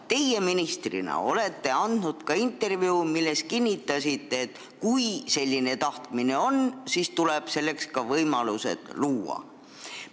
Teie ministrina olete andnud intervjuu, milles kinnitasite, et kui selline tahtmine on, siis tuleb selleks võimalus luua.